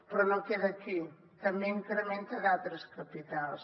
però no queda aquí també incrementa d’altres capitals